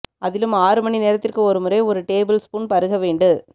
அதிலும் ஆறு மணிநேரத்திற்கு ஒரு முறை ஒரு டேபிள் ஸ்பூன் பருக வேண்டு